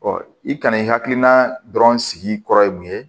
i kana i hakilina dɔrɔn sigi kɔrɔ ye mun ye